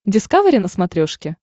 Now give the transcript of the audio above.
дискавери на смотрешке